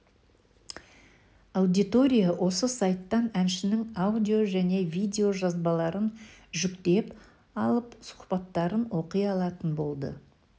аудитория осы сайттан әншінің аудио және видео жазбаларын жүктеп алып сұхбаттарын оқи алатын болды